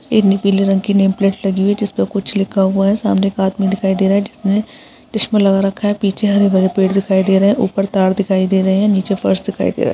इनी पिले रंग की नेम प्लेट लगी हुई है जिस पे कुछ लिखा हुआ है सामने एक आदमी दिखाई दे रहा है जिसने चस्मा लगा रखा है पीछे हरे-भरे पेड़ दिखाई दे रहे है ऊपर तार दिखाई दे रहे है नीचे फर्श दिखाई दे रहा है।